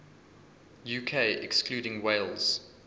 uk excluding wales